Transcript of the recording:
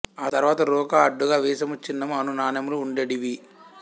ఆ తరువాత రూక అడ్డుగ వీసము చిన్నము అను నాణెములు ఉండెడివి